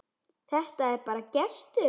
Þetta er bara gestur.